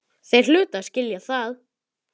Þeir hlutu að skilja það.